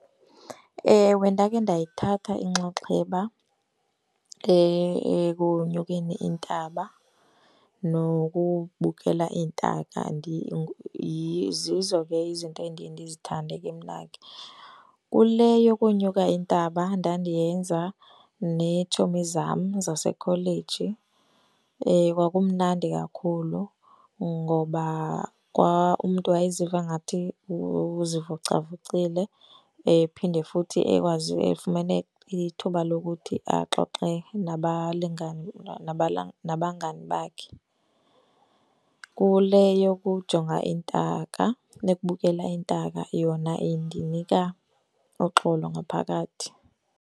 Ewe, ndake ndayithatha inxaxheba ekunyukeni intaba nokubukela iintaka . Zizo ke izinto endiye ndizithande kemna ke. Kule yokonyuka intaba ndandiyenza neetshomi zam zasekholeji. Kwakumnandi kakhulu ngoba umntu wayiziva ngathi uzivocavocile phinde futhi ekwazi efumene ithuba lokuthi axoxe nabalingani nabangani bakhe. Kule yokujonga iintaka, yokubukela iintaka, yona indinika uxolo ngaphakathi.